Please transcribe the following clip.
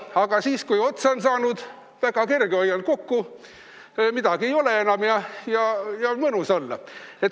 Aga siis, kui raha otsa on saanud, on väga kerge: hoian kokku, midagi ei ole enam ja on mõnus olla.